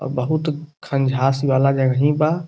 और बहुत खंजाश वाला जगही बा।